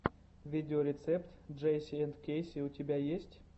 видеорецепт джейси энд кэйси у тебя есть